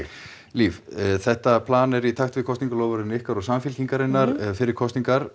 líf þetta er í takt við kosningaloforðin ykkar og Samfylkingarinnar fyrir kosningar